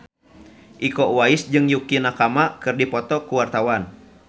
Iko Uwais jeung Yukie Nakama keur dipoto ku wartawan